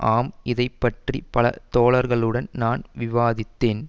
ஆம் இதை பற்றி பல தோழர்களுடன் நான் விவாதித்தேன்